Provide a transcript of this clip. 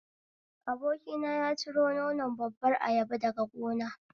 Abokina ya ciro nonon babbar ayaba daga gona